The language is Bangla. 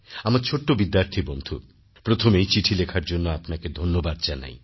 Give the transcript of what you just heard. আমার ছোট্ট বিদ্যার্থী বন্ধু প্রথমেই চিঠি লেখার জন্য আপনাকে ধন্যবাদ জানাই